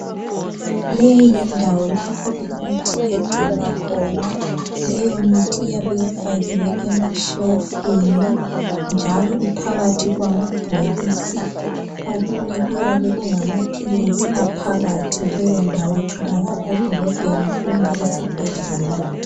Leyi yindawo lapho imithi egcinwa khona , leyomithi iyabe ifakiwe ema shelufini njalo iphakathi kwamabhokisi , okunye kuyabe kungamaphilizi aphakathi , leyondawo itholakala edolobheni kumbe esibhedlela